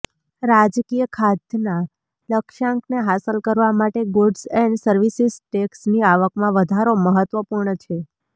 રાજકીય ખાધના લક્ષ્યાંકને હાંસલ કરવા માટે ગૂડ્ઝ એન્ડ સર્વિસિસ ટેક્સની આવકમાં વધારો મહત્ત્વપૂર્ણ છે